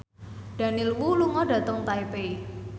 Daniel Wu lunga dhateng Taipei